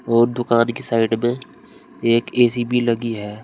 और दुकान की साइड में एक ए_सी भी लगी है।